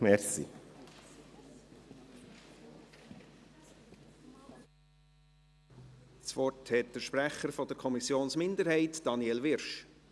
Das Wort hat der Sprecher der Kommissionsminderheit, Daniel Wyrsch.